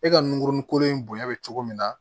E ka nunkurunnin kolon in bonya be cogo min na